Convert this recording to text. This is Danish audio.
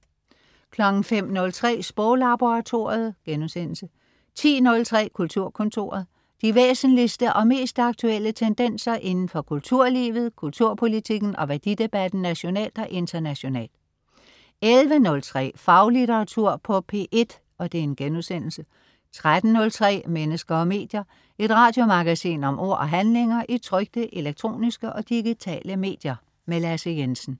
05.03 Sproglaboratoriet* 10.03 Kulturkontoret. De væsentligste og mest aktuelle tendenser inden for kulturlivet, kulturpolitikken og værdidebatten nationalt og internationalt 11.03 Faglitteratur på P1* 13.03 Mennesker og medier. Et radiomagasin om ord og handlinger i trykte, elektroniske og digitale medier. Lasse Jensen